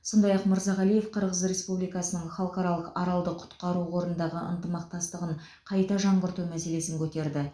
сондай ақ мырзағалиев қырғыз республикасының халықаралық аралды құтқару қорындағы ынтымақтастығын қайта жаңғырту мәселесін көтерді